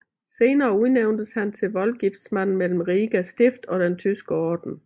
Senere udnævntes han til voldgiftsmand mellem Riga Stift og den Tyske orden